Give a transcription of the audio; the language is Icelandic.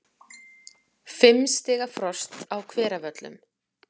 Fimm stiga frost á Hveravöllum